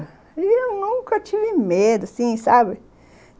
E eu nunca tive medo, assim, sabe?